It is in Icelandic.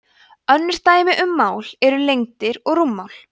önnur dæmi um mál eru lengdir og rúmmál